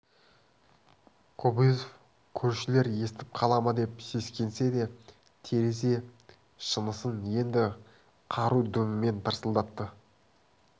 кобозев көршілер естіп қала ма деп сескенсе де терезе шынысын енді қару дүмімен тарсылдатты